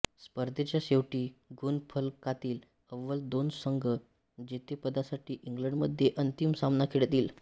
स्पर्धेच्या शेवटी गुणफलकातील अव्वल दोन संघ जेतेपदासाठी इंग्लंडमध्ये अंतिम सामना खेळतील